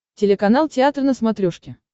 телеканал театр на смотрешке